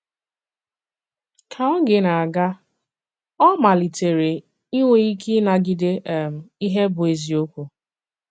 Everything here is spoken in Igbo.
Ka ògè na-aga, ọ̀ malìtèkwara ìnwè ìkè ịnàgìdé um ihe bụ́ èzìokwu.